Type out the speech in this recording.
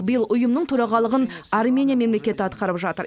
биыл ұйымның төрағалығын армения мемлекеті атқарып жатыр